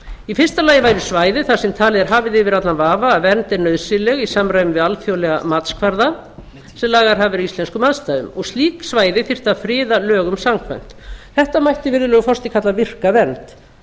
í fyrsta lagi væri svæði þar sem talið væri hafið yfir allan vafa að vernd er nauðsynleg í samræmi við alþjóðlega matskvarða sem lagaðir hafa verið íslenskum aðstæðum og slík svæði þyrfti að friða lögum samkvæmt þetta mætti virðulegur forseti kalla virka vernd